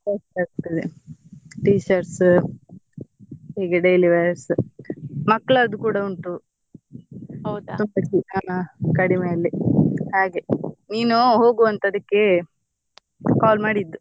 Best ಆಗ್ತದೆ t shirts ಹೀಗೆ daily wears ಮಕ್ಕಳದ್ದು ಕೂಡ ಉಂಟು ತುಂಬ ಛೆ~ ಕಡಿಮೆ ಅಲ್ಲಿ ಹಾಗೆ ನೀನು ಹೋಗು ಅಂತ ಅದಕ್ಕೆ call ಮಾಡಿದ್ದು.